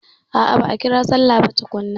A'a ba'a ƙira sallah ba tukunna.